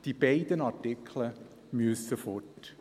Die beiden Artikel müssen weg.